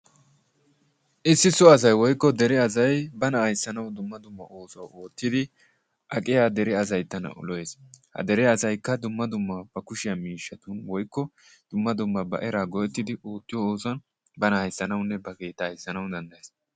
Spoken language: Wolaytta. Issi so asay woykko dere asay bana ayssnawu dumma dumma oossuwa oottidi aqqiya asay atana lo"ees. Ha dere asaykka dumma dumma ba kushshiyaa miishshatun woykko dumma dumma ba era go"ettidi oottiyo oosuwaan bana ayssanawunne ba keetta ayssanawu danddayees.